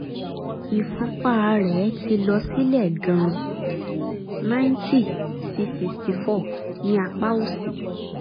ìfúnpá rẹ̀ ti lọ sílẹ̀ gan-an ninety sí sixty four ní apá òsì